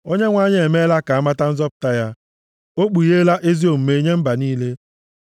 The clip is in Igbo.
Onyenwe anyị emeela ka a mata nzọpụta ya o kpugheela ezi omume ya nye mba niile.